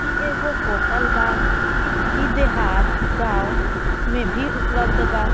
ई एगो होटल बा ई देहात गाँव में भी उपलप्ध बा।